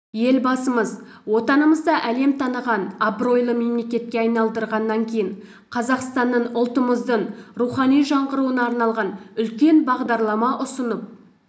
елбасымыз отанымызды әлем таныған абыройлы мемлекетке айналдырғаннан кейін қазақстанның ұлтымыздың рухани жаңғыруына арналған үлкен бағдарлама ұсынып